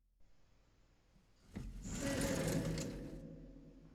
сызрани